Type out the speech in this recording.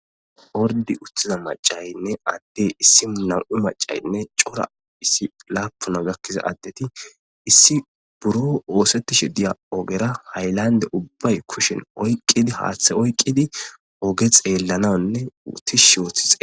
ordi utthiza macaynne addey issimu nam7u macaynne cora issi laapuna gakkiza addeti issi buro oosettishe diya ogera haylande ubbay kushen oyqqidi haaththe oyqqidi oge xeellananne uttish shioothixe